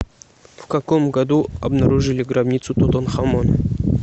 в каком году обнаружили гробницу тутанхамона